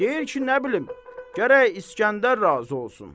Deyir ki, nə bilim, gərək İskəndər razı olsun.